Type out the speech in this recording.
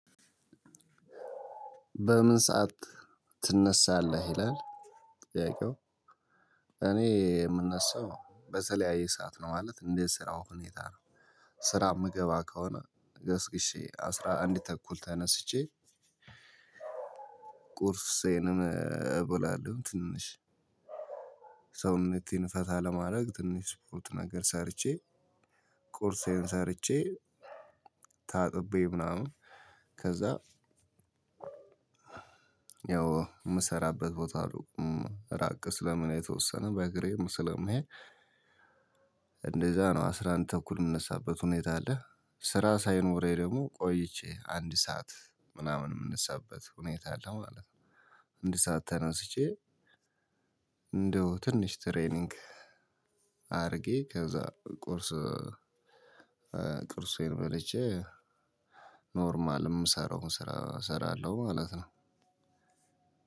በምን ሰዓት ትነሳለህ? ይላል ጥያቄው እኔ የምነሳው በተለያየ ሰዓት ነው ማለት እንደ ስራው ሁኔታ። ስራ የምገባ ከሆነ ገስግሼ አስራ አንድ ተኩል ተነስቼ። ቁርሴንም እበላለሁ። ትንሽ ሰውነቴን ፈታ ለማድረግ ትንሽ ስፖርት ነገር ሰርቼ። ቁርሴን ሰርቼ ታጥቤ ምናምን ከዛ ያው የምሰራበት ቦታ ራቅ ስለሚል የተወሰነ በእግሬም ስለምሄድ። እንደዛ ነው አስራ አንድ ተኩል የምነሳበት ሁኔታ አለ። ስራ ሳይኖረኝ ደግሞ ቆይቼ አንድ ሰዓት ምናምን የምንሳበት ሁኔታ አለ ማለት ነው። አንድ ሰዓት ተነስቼ እንደው ትንሽ ትሬኒንግ አድርጌ ከዛ ቁርስ ቁርሴን በልቼ ኖርማል ምሰራውን ስራ እሰራለሁ ማለት ነው።